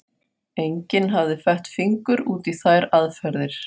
Enginn hafði fett fingur út í þær aðferðir.